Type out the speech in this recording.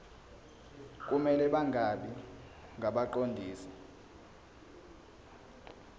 kumele bangabi ngabaqondisi